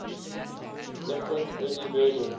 different early versions